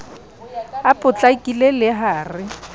a potlakile le ha re